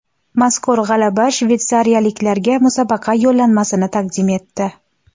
Mazkur g‘alaba shveysariyaliklarga musobaqa yo‘llanmasini taqdim etdi.